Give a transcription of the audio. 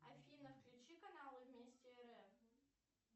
афина включи канал вместе рф